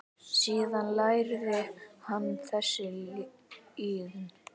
Síðan lærði hann þessa iðn.